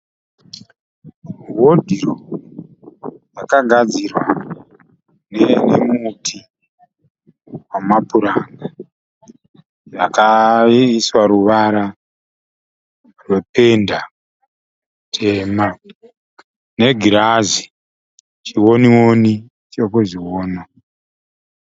Hodhiropu yakagadzirwa nemuti wamapuranga. Yakaiswa ruvara rwependa tema, negirazi chiwoni woni chekuzviwona.